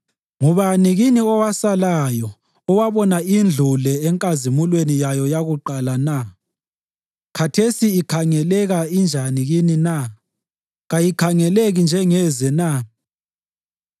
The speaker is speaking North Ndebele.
‘Ngubani kini owasalayo owabona indlu le enkazimulweni yayo yakuqala na? Khathesi ikhangeleka injani kini na? Kayikhangeleki njengeze na?